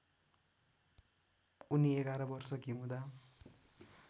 उनी ११ वर्षकी हुँदा